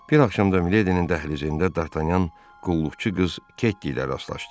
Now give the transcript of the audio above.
Bir axşam da Miledinin dəhlizində Dartanyan qulluqçu qız Ketty ilə rastlaşdı.